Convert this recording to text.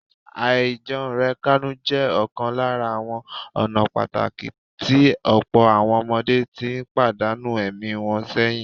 Àìjẹunrekánú jẹ ọ̀kan lára ​​àwọn ọ̀nà pàtàkì tí ọ̀pọ̀ àwọn ọmọdé ti pàdánù ẹ̀mí wọn sẹ́yìn